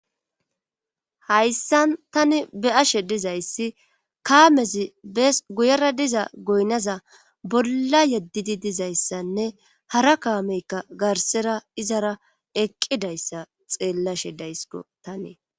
hayssan tani be ashe dizayssi kaamezi bes guyera diza goynaza bolla yeddidi dizayssanne hara kaameykka garsera izara eqqidayssa xeellashe daysko tani